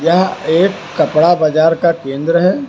यह एक कपड़ा बाजार का केंद्र है।